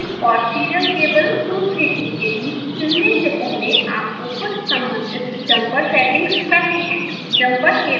usb और serial cable 232 के बीच चुनने से पहले आपको कुछ सम्बंधित jumper सेटिंग्स करनी हैं